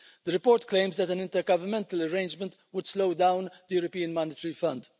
The report claims that an intergovernmental arrangement would slow down the European Monetary Fund.